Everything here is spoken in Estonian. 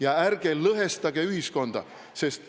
Ja ärge lõhestage ühiskonda!